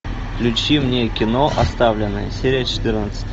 включи мне кино оставленные серия четырнадцать